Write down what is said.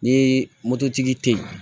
Ni moto tigi tɛ ye